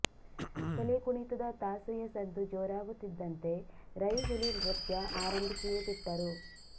ಹುಲಿ ಕುಣಿತದ ತಾಸೆಯ ಸದ್ದು ಜೋರಾಗುತ್ತಿದ್ದಂತೆ ರೈ ಹುಲಿ ನೃತ್ಯ ಆರಂಭಿಸಿಯೇ ಬಿಟ್ಟರು